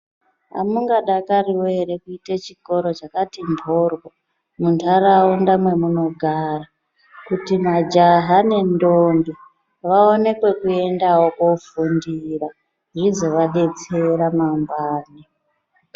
Amungadakariwo kuita chikora chakati mboryo nendaraunda matinogara kuti majaha nendombi vainewo pekuenda kofundira nekuzovadetsera panguwa.